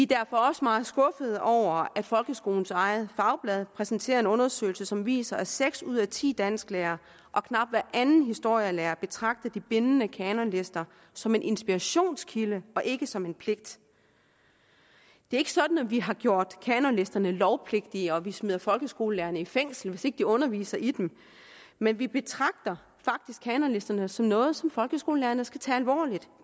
derfor også meget skuffede over at folkeskolens eget fagblad præsenterer en undersøgelse som viser at seks ud af ti dansklærere og knap hver anden historielærer betragter de bindende kanonlister som en inspirationskilde og ikke som en pligt det er ikke sådan at vi har gjort kanonlisterne lovpligtige og at vi smider folkeskolelærerne i fængsel hvis ikke de underviser i dem men vi betragter faktisk kanonlisterne som noget som folkeskolelærerne skal tage alvorligt